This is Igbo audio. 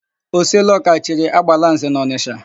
Oseloka chiri, Agbalanze n'Ọnịsha.